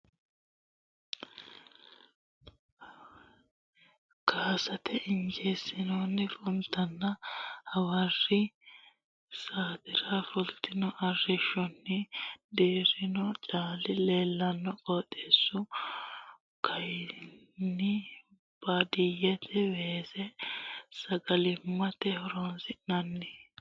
Caale , weese, funta, simaancho weese, arrishshaame diilallo, carrenna hayisso leeltanno. Baatto dirimaame ofollo nooseta ikkasenni hayiissote iniitinokkita xawissanno. Kaasate injiino funtinna hawarri saatera fultino arrishshonni dirrino caali leellanno. Qooxeessu kayinni baadiyyete. Weese sagalimmate horoonsi'nanni.